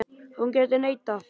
Hún gæti neitað.